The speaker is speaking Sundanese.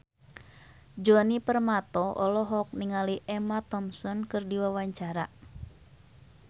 Djoni Permato olohok ningali Emma Thompson keur diwawancara